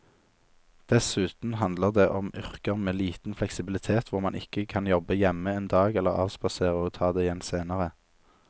Dessuten handler det om yrker med liten fleksibilitet hvor man ikke kan jobbe hjemme en dag eller avspasere og ta det igjen senere.